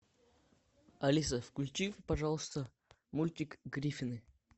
алиса включи пожалуйста мультик гриффины